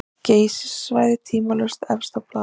Geysissvæðið tvímælalaust efst á blaði.